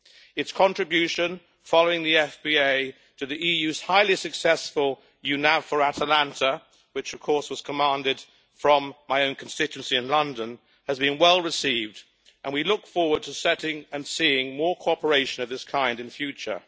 Its contribution, following the FPA, to the EU's highly successful EU NAVFOR Atlanta, which was commanded from my own constituency in London, has been well received and we look forward to setting and seeing more cooperation of this kind in future.